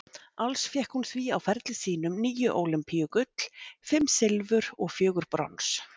Alls fékk hún því á ferli sínum níu ólympíugull, fimm silfur og fjögur brons.